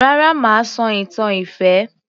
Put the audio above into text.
Rárá mà á sọ ìtàn ìfẹ́